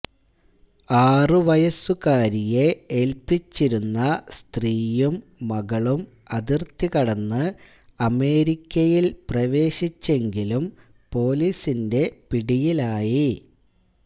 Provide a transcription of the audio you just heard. ആറുവയസ്സുകാരിയെ ഏൽപിച്ചിരുന്ന സ്ത്രീയും മകളും അതിർത്തി കടന്ന് അമേരിക്കയിൽ പ്രവേശിച്ചെങ്കിലും പൊലീസിന്റെ പിടിയിലായി